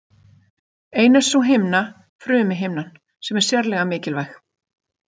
Ein er sú himna, frumuhimnan, sem er sérlega mikilvæg.